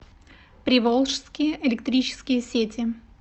приволжские электрические сети